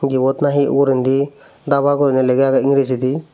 ebot na he ogorendy dhaba guri lega agey ingrejidi.